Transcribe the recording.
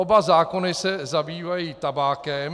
Oba zákony se zabývají tabákem.